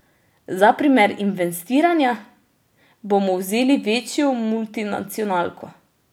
Za primer investiranja bomo vzeli večjo multinacionalko.